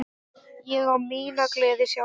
Ég á mína gleði sjálf.